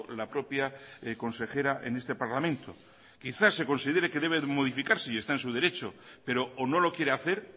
la propia consejera en este parlamento quizás se considere que debe modificarse y está en su derecho pero o no lo quiere hacer